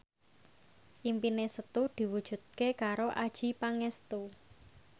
impine Setu diwujudke karo Adjie Pangestu